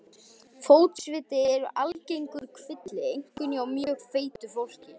Fótsviti eru algengur kvilli, einkum hjá mjög feitu fólki.